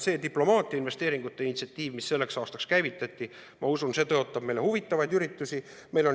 See diplomaatiainvesteeringute initsiatiiv, mis selleks aastaks käivitati, ma usun, tõotab meile huvitavaid üritusi.